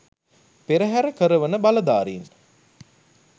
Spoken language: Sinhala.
පෙරහර කරවන බලධාරීන්